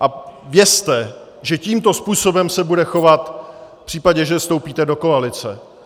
A vězte, že tímto způsobem se bude chovat v případě, že vstoupíte do koalice.